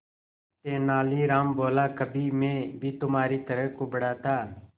तेनालीराम बोला कभी मैं भी तुम्हारी तरह कुबड़ा था